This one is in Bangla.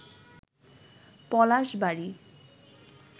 পলাশবাড়ী